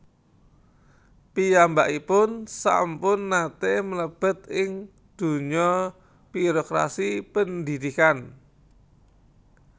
Piyambakipun sampun nate mlebet ing dunya birokrasi pendhidhikan